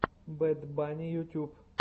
бэд банни ютюб